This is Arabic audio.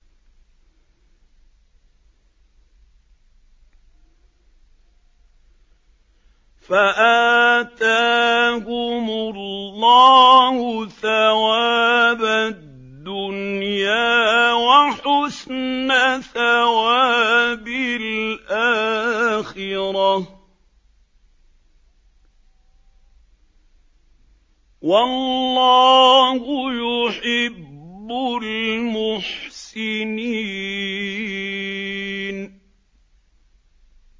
فَآتَاهُمُ اللَّهُ ثَوَابَ الدُّنْيَا وَحُسْنَ ثَوَابِ الْآخِرَةِ ۗ وَاللَّهُ يُحِبُّ الْمُحْسِنِينَ